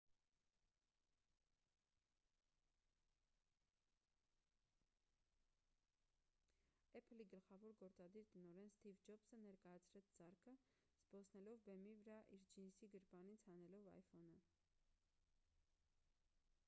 apple-ի գլխավոր գործադիր տնօրեն սթիվ ջոբսը ներկայացրեց սարքը՝ զբոսնելով բեմի վրա և իր ջինսի գրպանից հանելով iphone-ը։